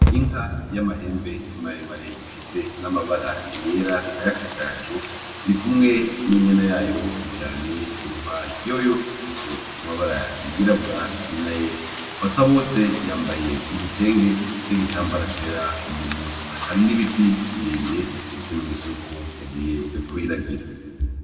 Inka y'amahembe maremare ifise n'amabara yera, ay'akagaju. Iri kumwe n'inyana yayo iyiryamye iruhande. Yoyo ifise amabara yirabura n'ayera. Basabose yambaye igitenge n'igitambara cera mu mutwe. Hari n'ibiti birebire, ikimenyetso c'uko yagiye kuyiragira.